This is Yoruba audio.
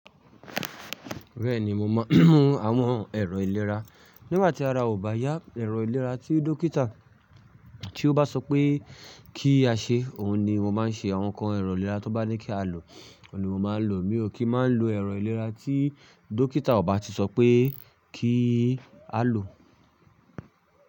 Bẹ́ẹ̀ni, mo mọ àwọn ẹ̀rọ ìlera. Nígbà tí ara ò bá yá, ẹ̀rọ ìlera tí Dókítà tí ó bá sọ pé kí á ṣe, òhun ni mo máa ń ṣe. Àwọn nǹkan ẹ̀rọ ìlera tó bá ní kí á lò, òhun ni mo máa ń lò. Mi ò kí máa ń lo ẹ̀rọ ìlera tí Dókítà ò bá ti sọ pé kí á lò.